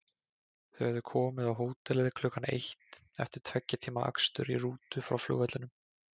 Þau höfðu komið á hótelið klukkan eitt eftir tveggja tíma akstur í rútu frá flugvellinum.